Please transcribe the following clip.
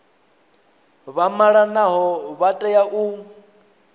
vha malanaho vha tea u